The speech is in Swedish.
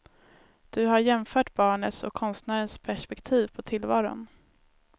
Du har jämfört barnets och konstnärens perspektiv på tillvaron.